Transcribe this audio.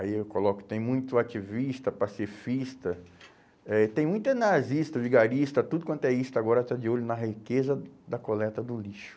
Aí eu coloco que tem muito ativista, pacifista, eh tem muito nazista, vigarista, tudo quanto é isto, agora está de olho na riqueza da coleta do lixo.